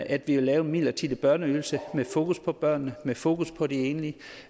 at vi ville lave en midlertidig børneydelse med fokus på børnene med fokus på de enlige